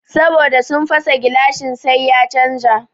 Saboda sun fasa gilashin sai ya canja